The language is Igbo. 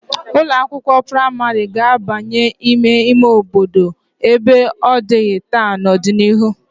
Ụlọ akwụkwo praịmarị ga-abanye n'ime ime obodo ebe ọ dịghị taa n'ọdịnihu.